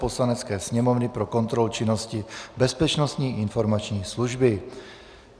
Poslanecké sněmovny pro kontrolu činnosti Bezpečnostní informační služby